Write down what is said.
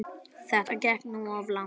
Þetta gekk nú of langt.